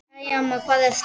Æ, amma, hvar ertu?